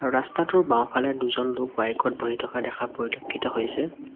ৰাস্তাটোৰ বাওঁফালে দুজন লোক বাইক ত বহি থকা দেখা পৰিলক্ষিত হৈছে।